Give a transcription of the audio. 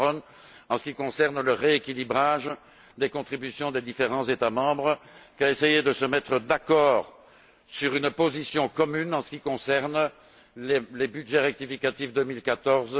Cameron, en ce qui concerne le rééquilibrage des contributions des différents États membres, qu'à essayer de se mettre d'accord sur une position commune en ce qui concerne les budgets rectificatifs 2014